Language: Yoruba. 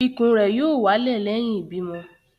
Ikùn r yóò wálẹ̀ lẹ́yìn ìbímọ